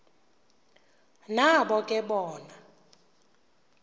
nabo ke bona